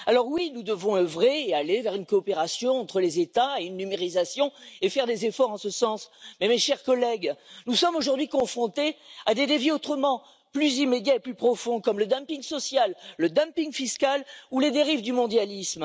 Alors oui, nous devons œuvrer et aller vers une coopération entre les États et une numérisation et faire des efforts en ce sens, mais mes chers collègues, nous sommes aujourd'hui confrontés à des défis autrement plus immédiats et plus profonds, comme le dumping social, le dumping fiscal ou les dérives du mondialisme.